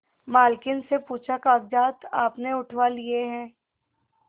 मालकिन से पूछाकागजात आपने उठवा लिए हैं